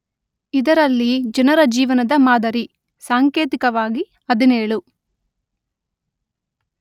ಇದರಲ್ಲಿ ಜನರ ಜೀವನದ ಮಾದರಿ (ಸಾಂಕೇತಿಕವಾಗಿ ಹದಿನೇಳು